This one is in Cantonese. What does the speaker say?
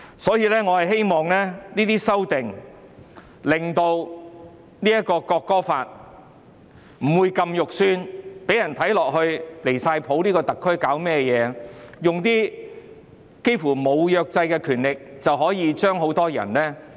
所以，我希望這些修訂可以令《條例草案》不會這麼難看，讓人覺得特區政府太離譜，透過《條例草案》用近乎沒有約制的權力來懲罰很多人。